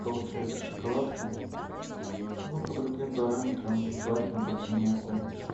получается шоколадкам ну по другим параметрам желательно по цене поменьше